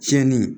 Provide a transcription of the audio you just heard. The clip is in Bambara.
Tiɲɛni